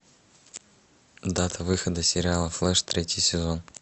дата выхода сериала флэш третий сезон